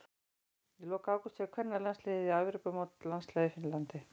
Í lok ágúst fer kvennalandsliðið á Evrópumót landsliða í Finnlandi.